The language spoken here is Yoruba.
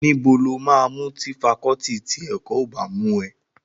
Níbo lo máa mú tí fakọọti ti ẹ̀kọ́ ò bá mú ẹ?